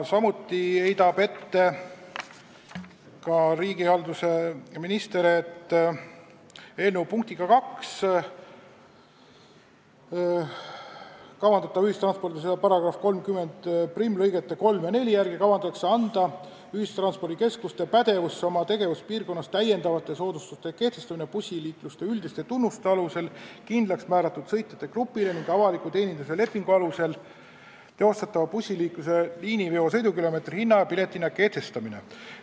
Samuti heidab riigihalduse minister ette, et eelnõu punktiga 2, ühistranspordiseaduse § 301 lõigete 3 ja 4 järgi kavandatakse ühistranspordikeskuste pädevusse anda oma tegevuspiirkonnas täiendavate soodustuste kehtestamine bussiliikluse üldiste tunnuste alusel kindlaks määratud sõitjate grupile ning avaliku teenindamise lepingu alusel teostatava bussiliikluse liiniveo sõidukilomeetri hinna ja piletihinna kehtestamine.